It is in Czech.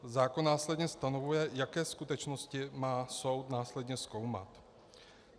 Zákon následně stanovuje, jaké skutečnosti má soud následně zkoumat.